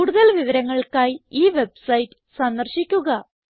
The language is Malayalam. കൂടുതൽ വിവരങ്ങൾക്കായി ഈ വെബ്സൈറ്റ് സന്ദർശിക്കുക